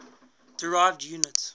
derived units